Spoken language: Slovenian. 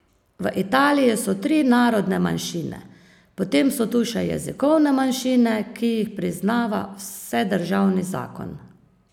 V Italiji so tri narodne manjšine, potem so tu še jezikovne manjšine, ki jih priznava vsedržavni zakon.